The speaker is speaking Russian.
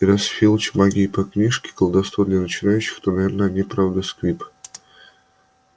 и раз филч учится магии по книжке колдовство для начинающих то наверное он и правда сквиб